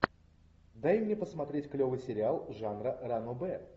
дай мне посмотреть клевый сериал жанра ранобэ